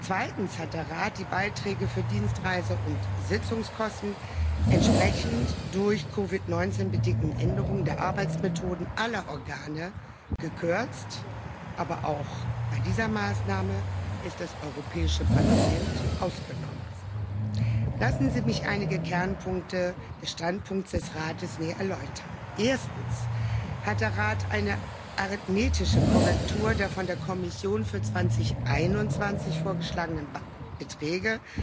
Zweitens hat der Rat die Beiträge für Dienstreisen und Sitzungskosten entsprechend der durch COVID 19 bedingten Änderungen der Arbeitsmethoden aller Organe gekürzt, aber auch bei dieser Maßnahme ist das Europäische Parlament ausgenommen. Lassen Sie mich einige Kernpunkte des Standpunkts des Rates näher erläutern. Erstens hat der Rat eine arithmetische Korrektur der von der Kommission für 2021 vorgeschlagenen Beträge